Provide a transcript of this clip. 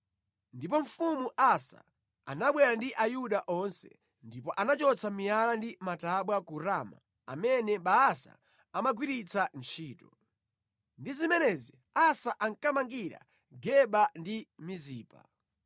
Ndipo mfumu Asa anabwera ndi Ayuda onse, ndipo anachotsa miyala ndi matabwa ku Rama amene Baasa amagwiritsa ntchito. Ndi zimenezi Asa ankamangira Geba ndi Mizipa.